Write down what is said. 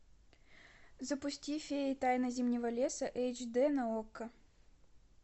запусти феи тайна зимнего леса эйч дэ на окко